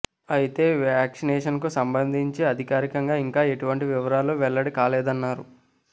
అయితే వ్యాక్సినేషన్కు సంబంధించి అధికారికంగా ఇంకా ఎటువంటి వివరాలు వెల్లడి కాలేదన్నారు